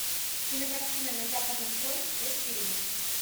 кинокартина на западном фронте без перемен